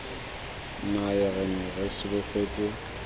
nayo re ne re solofetse